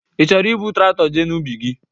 Ị chọrọ ibu Traktọ jee n'ubi gị?